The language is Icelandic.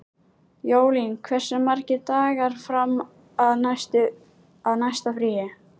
Jólín, hversu margir dagar fram að næsta fríi?